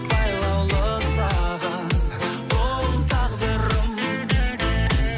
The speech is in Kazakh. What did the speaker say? байлаулы саған бұл тағдырым